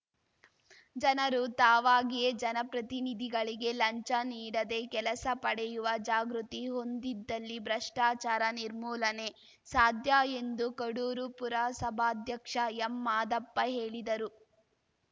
ಜನರು ತಾವಾಗಿಯೇ ಜನಪ್ರತಿನಿಧಿಗಳಿಗೆ ಲಂಚ ನೀಡದೇ ಕೆಲಸ ಪಡೆಯುವ ಜಾಗೃತಿ ಹೊಂದಿದ್ದಲ್ಲಿ ಭ್ರಷ್ಟಾಚಾರ ನಿರ್ಮೂಲನೆ ಸಾಧ್ಯ ಎಂದು ಕಡೂರು ಪುರಸಭಾಧ್ಯಕ್ಷ ಎಂಮಾದಪ್ಪ ಹೇಳಿದರು